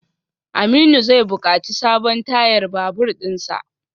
Aminu zai bukaci sabon tayar babur dinsa.